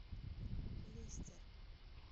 лестер